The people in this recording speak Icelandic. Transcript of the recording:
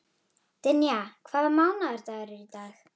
Dynja, hvaða mánaðardagur er í dag?